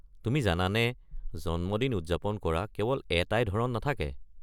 তুমি জানানে জন্মদিন উদযাপন কৰা কেৱল এটাই ধৰণ নাথাকে।